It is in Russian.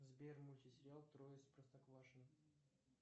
сбер мультсериал трое из простоквашино